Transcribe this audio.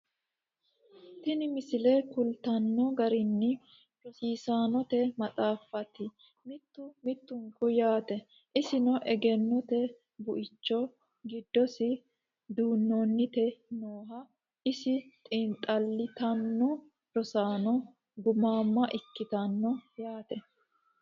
Tini misile kulittanno garinni rosaannotte maxxaffatti mittu mittunku yaatte. isinno egennotte buicho gidossi duunnanitte nooho , iso xiinixallittanni rosaanno gumaamma ikkittanno yaatte